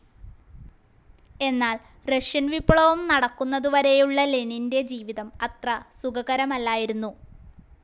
എന്നാൽ റഷ്യൻ വിപ്ലവം നടക്കുന്നതുവരേയുള്ള ലെനിന്റെ ജീവിതം അത്ര സുഖകരമല്ലായിരുന്നു.